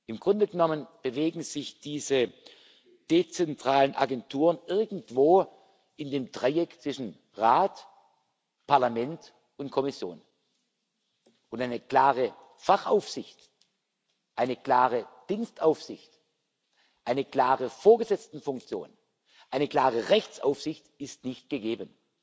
Im Grunde genommen bewegen sich diese dezentralen Agenturen irgendwo in dem Dreieck zwischen Rat, Parlament und Kommission, und eine klare Fachaufsicht, eine klare Dienstaufsicht, eine klare Vorgesetztenfunktion, eine klare Rechtsaufsicht ist nicht gegeben.